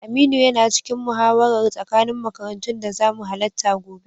Aminu yana cikin muhawarar tsakanin makarantun da zamu halatta gobe.